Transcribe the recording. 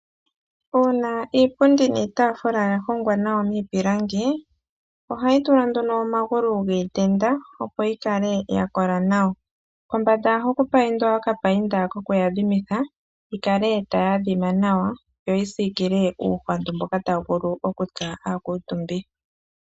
Uuna iipundi niitafula yahongwa nawa miipilangi ohayi tulwa nduno omagulu giitenda opo yikale yakola nawa ,kombanda ohaku paindwa okapainda koku adhimitha yikale tayi adhima nawa yo yisikile uuhwandu mboka tawu vulu okutsa aakuutumbi.